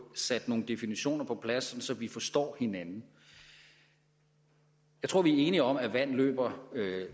sat nogle definitioner på plads vi forstår hinanden jeg tror vi er enige om at vand løber